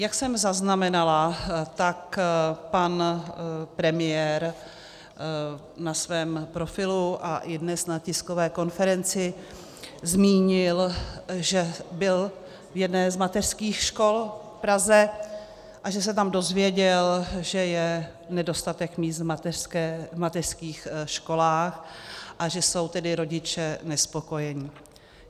Jak jsem zaznamenala, tak pan premiér na svém profilu a i dnes na tiskové konferenci zmínil, že byl v jedné z mateřských škol v Praze a že se tam dozvěděl, že je nedostatek míst v mateřských školách, a že jsou tedy rodiče nespokojeni.